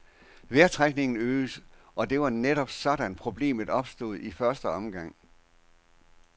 Vejrtrækningen øges, og det var netop sådan, problemet opstod i første omgang.